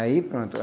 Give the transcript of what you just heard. Aí pronto.